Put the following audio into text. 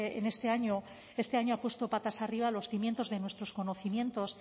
este año ha puesto patas arriba los cimientos de nuestros conocimientos